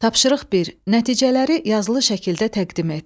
Tapşırıq bir: Nəticələri yazılı şəkildə təqdim et.